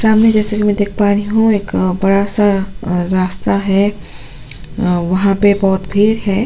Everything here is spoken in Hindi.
सामने जैसे कि मैं देख पा रही हूं एक अ बड़ा सा अ रास्ता है वहां पे बहुत भीर है।